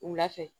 Wula fɛ